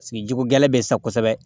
Sigi jiko gɛlɛn be sa kosɛbɛ